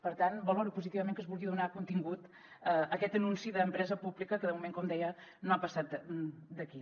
per tant valoro positivament que es vulgui donar contingut a aquest anunci d’empresa pública que de moment com deia no ha passat d’aquí